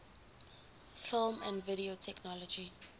film and video technology